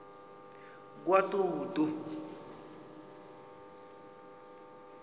kwatutu